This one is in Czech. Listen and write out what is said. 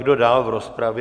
Kdo dál v rozpravě?